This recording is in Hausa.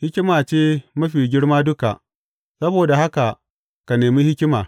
Hikima ce mafi girma duka; saboda haka ka nemi hikima.